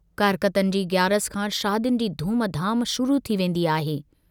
कारकतन जी ग्यारस खां शादियुनि जी धूम-धाम शुरू थी वेन्दी आहे।